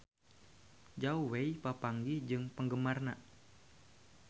Zhao Wei papanggih jeung penggemarna